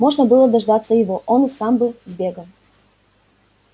можно было дождаться его он и сам бы сбегал